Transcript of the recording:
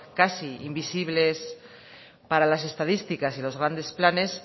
casi invisibles para las estadísticas y los grandes planes